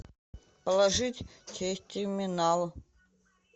положить через терминал